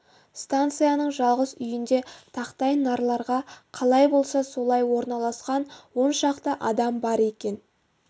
станцияның жалғыз үйінде тақтай нарларға қалай болса солай орналасқан он шақты адам бар екен